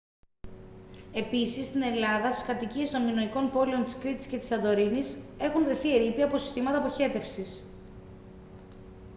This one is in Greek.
επίσης στην ελλάδα στις κατοικίες των μινωικών πόλεων της κρήτης και της σαντορίνης έχουν βρεθεί ερείπια από συστήματα αποχέτευσης